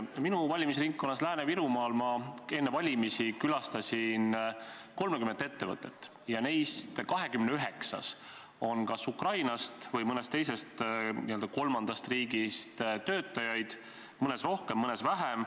Ma külastasin oma valimisringkonnas Lääne-Virumaal enne valimisi 30 ettevõtet ja neist 29-s on Ukrainast või mõnest teisest n-ö kolmandast riigist töötajaid, mõnes rohkem, mõnes vähem.